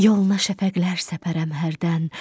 Yoluna şəfəqlər səpərəm hərdən,